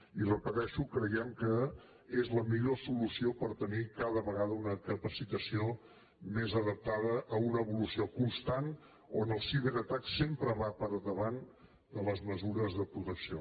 i ho repeteixo creiem que és la millor solució per tenir cada vegada una capacitació més adaptada a una evolució constant on el ciberatac sempre va per davant de les mesures de protecció